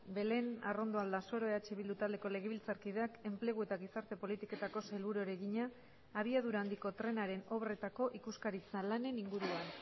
belén arrondo aldasoro eh bildu taldeko legebiltzarkideak enplegu eta gizarte politiketako sailburuari egina abiadura handiko trenaren obretako ikuskaritza lanen inguruan